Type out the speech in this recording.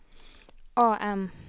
AM